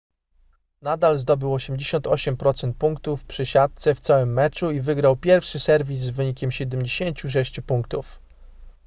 nadal zdobył 88% punktów przy siatce w całym meczu i wygrał pierwszy serwis z wynikiem 76 punktów